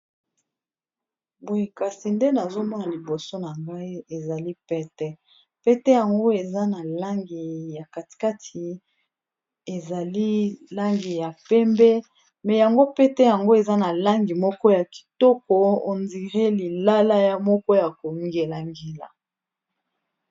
Boye kasi nde nazomona liboso na ngai ezali pete, pete yango eza na langi ya katikati ezali langi ya pembe mais yango pete yango eza na langi moko ya kitoko on dire lilala ya moko ya kongelangela.